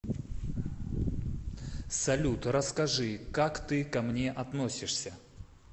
салют расскажи как ты ко мне относишься